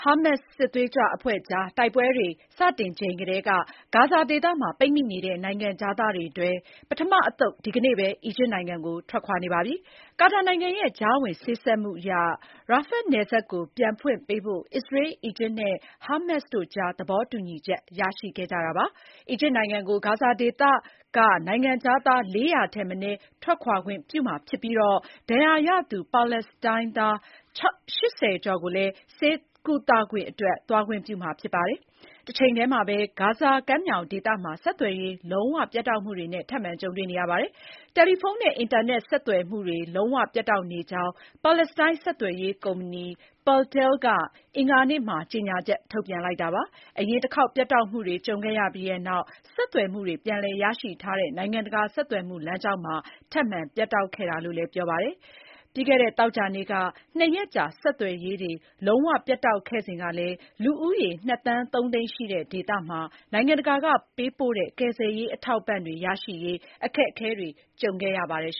ာမတ်စ်စစ်သွေးကြွအဖွဲ့ကြား တိုက်ပွဲတွေ စတင်ချိန်ကတည်းက ဂါဇာဒေသမှာ ပိတ်မိနေတဲ့ နိုင်ငံခြားသားတွေထဲက ပထမအသုတ် ဒီကနေ့ပဲ အီဂျစ်နိုင်ငံကို ထွက်ခွာနေပါပြီ။ ကာတာနိုင်ငံရဲ့ ကြားဝင်စေ့စပ်မှုအရ Rafah နယ်စပ်ကို ပြန်ဖွင့်ပေးဖို့ အစ္စရေး၊ အီဂျစ်နဲ့ ဟာမတ်စ်တို့ကြား သဘောတူညီချက် ရရှိခဲ့ကြတာပါ။ အီဂျစ်နိုင်ငံကို ဂါဇာဒေသက နိုင်ငံခြားသား ၄၀၀ ထက်မနည်း ထွက်ခွာခွင့်ပြုမှာဖြစ်ပြီး၊ ဒဏ်ရာရသူ ပါလက်စတိုင်းသား ၈၀ ကျော်ကိုလည်း ဆေးကုသခွင့်အတွက် သွားခွင့်ပြုမှာ ဖြစ်ပါတယ်။ တချိန်တည်းမှာပဲ ဂါဇာကမ်းမြောင်ဒေသမှာ ဆက်သွယ်ရေး လုံးဝပြတ်တောက်မှုတွေနဲ့ ထပ်မံကြုံတွေ့နေရပါတယ်။ တယ်လီဖုန်းနဲ့ အင်တာနက် ဆက်သွယ်မှုတွေ လုံးဝပြတ်တောက်နေကြောင်း ပါလက်စတိုင်း ဆက်သွယ်ရေးကုမ္ပဏီ Paltel က အင်္ဂါနေ့မှာ ကြေညာချက် ထုတ်ပြန်လိုက်တာပါ။ အရင်တခေါက် ပြတ်တောက်မှုတွေ ကြုံခဲ့ရပြီးနောက် ဆက်သွယ်မှုတွေ ပြန်လည် ရရှိထားတဲ့ နိုင်ငံတကာ ဆက်သွယ်မှုလမ်းကြောင်းမှာ ထပ်မံပြတ်တောက်ခဲ့တာလို့လည်း ပြောပါတယ်။ ပြီးခဲ့သောသောကြာနေ့က ၂ ရက်ကြာ ဆက်သွယ်ရေးတွေ လုံး၀ ပြတ်တောက်ခဲ့စဉ်ကလည်း လူဦးရေ ၂ သန်း ၃ သိန်းရှိတဲ့ ဒေသမှာ နိုင်ငံတကာက ပေးပို့တဲ့ ကယ်ဆယ်ရေး အထောက်အပံ့တွေ ရရှိရေး အခက်အခဲတွေ ကြုံခဲ့ရပါတယ်